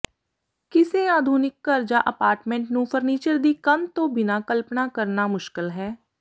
ਕਿਸੇ ਆਧੁਨਿਕ ਘਰ ਜਾਂ ਅਪਾਰਟਮੈਂਟ ਨੂੰ ਫ਼ਰਨੀਚਰ ਦੀ ਕੰਧ ਤੋਂ ਬਿਨਾਂ ਕਲਪਣਾ ਕਰਨਾ ਮੁਸ਼ਕਲ ਹੈ